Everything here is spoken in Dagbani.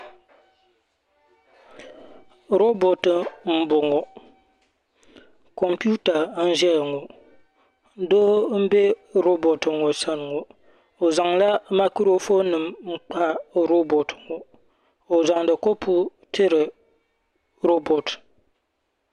Rooboti. boŋɔ doo n bɛ roobotiŋɔ sani ŋɔ o zanla maakoronim n kpa roobotiŋɔ o zandi kopu n tiri o zandi kopu tiri rooboti